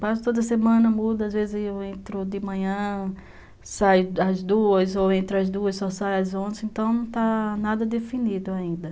Passo toda semana, mudo, às vezes eu entro de manhã, saio às duas, ou entro às duas, só saio às onze, então não está nada definido ainda.